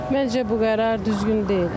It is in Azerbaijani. Məncə bu qərar düzgün deyil.